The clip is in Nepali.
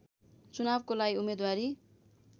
चुनावको लागि उम्मेद्वारी